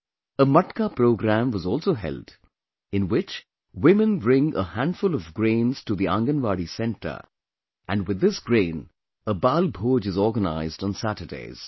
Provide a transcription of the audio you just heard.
A Matka program was also held, in which women bring a handful of grains to the Anganwadi center and with this grain, a 'Balbhoj' is organized on Saturdays